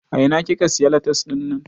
A ina kika siya latas dinnan?